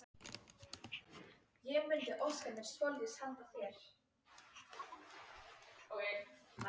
Þá kom hann heim til okkar.